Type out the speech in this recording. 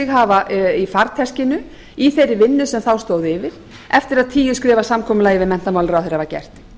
hafa í farteskinu í þeirri vinnu sem þá stóð yfir eftir að tíu skrefa samkomulagið við menntamálaráðherra var gert